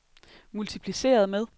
multipliceret med